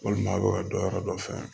Walima a bɛ don yɔrɔ dɔ fɛ